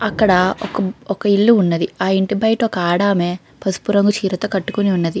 అక్కడ ఒక ఇల్లు ఉన్నది. ఆ ఇంటి బయట ఒక ఆడామే పసుపు రంగు చీర కట్టుకుని ఉన్నది.